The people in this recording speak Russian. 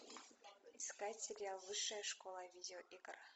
искать сериал высшая школа видеоигр